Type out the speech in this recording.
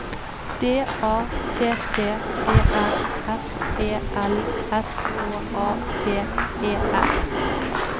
D A T T E R S E L S K A P E R